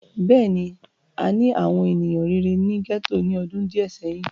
Bẹ́ẹ̀ni, àni àwọn eniyan rere ni gẹto ni ọdun diẹ sẹhin.